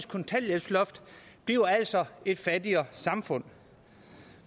kontanthjælpsloft bliver altså et fattigere samfund